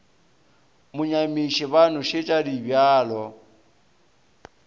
mo nyamiše ba nošetša dibjalo